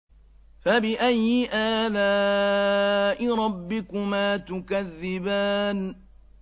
فَبِأَيِّ آلَاءِ رَبِّكُمَا تُكَذِّبَانِ